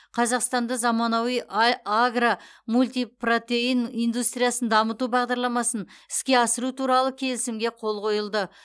қазақстанда заманауи ай агро мультипротеин индустриясын дамыту бағдарламасын іске асыру туралы келісімге қол қойылды